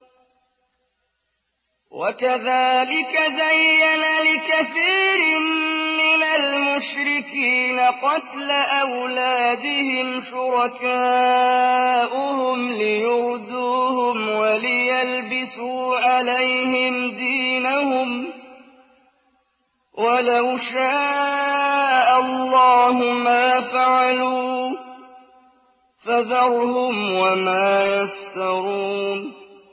وَكَذَٰلِكَ زَيَّنَ لِكَثِيرٍ مِّنَ الْمُشْرِكِينَ قَتْلَ أَوْلَادِهِمْ شُرَكَاؤُهُمْ لِيُرْدُوهُمْ وَلِيَلْبِسُوا عَلَيْهِمْ دِينَهُمْ ۖ وَلَوْ شَاءَ اللَّهُ مَا فَعَلُوهُ ۖ فَذَرْهُمْ وَمَا يَفْتَرُونَ